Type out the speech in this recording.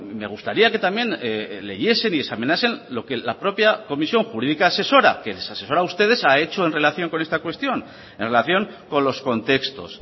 me gustaría que también leyesen y examinasen lo que la propia comisión jurídica asesora que les asesora a ustedes ha hecho en relación con esta cuestión en relación con los contextos